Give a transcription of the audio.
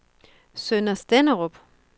Sønder Stenderup